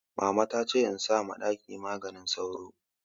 Mama ta ce in sa ma ɗaki maganin sauro